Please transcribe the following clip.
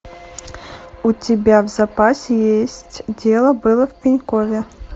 у тебя в запасе есть дело было в пенькове